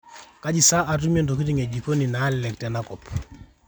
kaji saa atumie ntokitin e jikoni naalelek tena kop